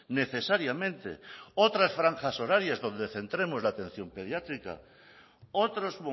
necesariamente otras franjas horarias donde centremos la atención pediátrica otros